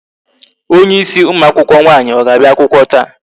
Onye ịsị ụmụ akwụkwọ nwaanyi ọ ga-abịa akwụkwọ taa?